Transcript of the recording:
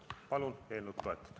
Palun eelnõu toetada!